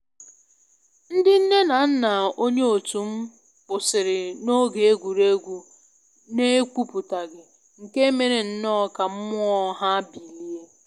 Ndị nne na nna onye otum kwụsịrị na oge egwuregwu na ekwuputaghị, nke mere nnọọ ka mmụọ ya bilie